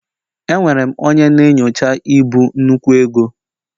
Enwere m onye na-enyocha ibu nnukwu ego